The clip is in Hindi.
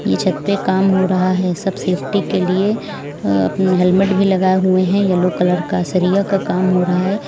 ये छत पर काम हो रहा है सब सेफ्टी के लिए अ अपना हेलमेट भी लगाए हुए हैं येलो कलर का सरिया का काम हो रहा है।